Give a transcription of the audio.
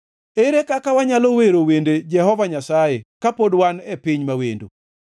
Ere kaka wanyalo wero wende Jehova Nyasaye kapod wan e piny ma wendo?